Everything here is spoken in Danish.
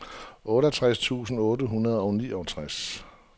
otteogtres tusind otte hundrede og niogtres